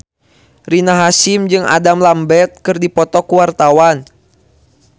Rina Hasyim jeung Adam Lambert keur dipoto ku wartawan